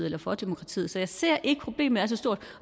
eller for demokratiet så jeg ser ikke at problemet er så stort